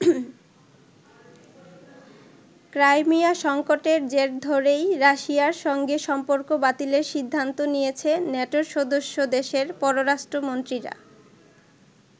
Crimea সংকটের জের ধরেই রাশিয়ার সঙ্গে সম্পর্ক বাতিলের সিদ্ধান্ত নিয়েছে নেটোর সদস্য দেশের পররাষ্ট্রমন্ত্রীরা।